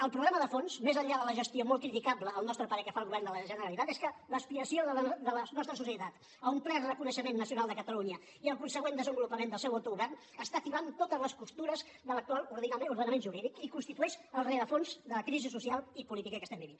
el problema de fons més enllà de la gestió molt criticable al nostre parer que fa el govern de la generalitat és que l’expiació de les nostra societat a un ple reconeixement nacional de catalunya i el consegüent desenvolupament del seu autogovern està tibant totes les costures de l’actual ordenament jurídic i constitueix el rerefons de la crisi social i política que estem vivint